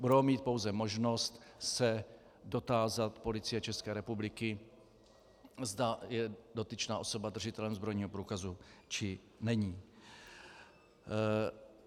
Budou mít pouze možnost se dotázat Policie České republiky, zda je dotyčná osoba držitelem zbrojního průkazu, či není.